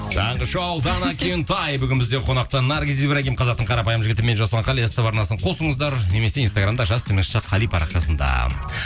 таңғы шоу дана кентай бүгін бізде қонақта наргиз ибрагим қазақтың қарапайым жігіті мен жасұлан қали ств арнасын қосыңыздар немесе инстаграмда жас қали парақшасында